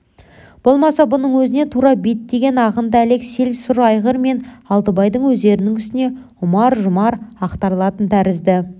болмаса бұның өзіне тура беттеген ағынды әлек сел сұр айғыр мен алтыбайдың өздерінің үстіне ұмар-жұмар ақтарылатын тәрізді